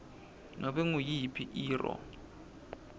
kunobe nguyiphi irro